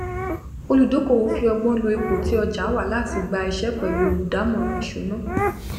olùdókòwò fi ọgbón lo ipò tí ọjà wà láti gba iṣẹ pẹlú olùdámọràn ìṣúná